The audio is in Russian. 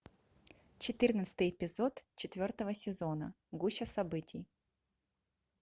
четырнадцатый эпизод четвертого сезона гуща событий